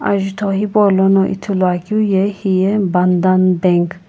ajutho hipaulono lthuluakeu ye hiye bandhan bank .